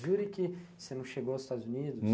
Jure que você não chegou aos Estados Unidos?